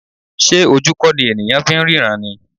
Ṣé ojú kò ní ènìyàn fi ń ríran ni?